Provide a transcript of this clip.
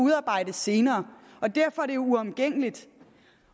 udarbejdes senere derfor er det uomgængeligt